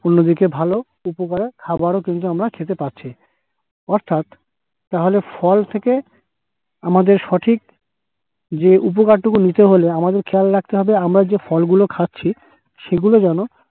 অন্যদিকে ভালো উপকারের খাবারও কিন্তু আমরা খেতে পারছি অর্থাৎ তাহলে ফল থেকে আমাদের সঠিক যে উপকারটুকু নিতে হলে আমাদের খেয়াল রাখতে হবে আমরা যে ফলগুলো খাচ্ছি সেগুলো যেন